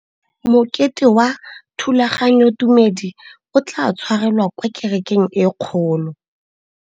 Mokete wa thulaganyôtumêdi o tla tshwarelwa kwa kerekeng e kgolo.